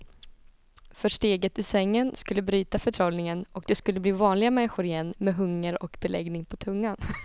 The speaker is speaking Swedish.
För steget ur sängen skulle bryta förtrollningen och de skulle bli vanliga människor igen med hunger och beläggning på tungan.